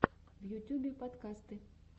в ютюбе подкасты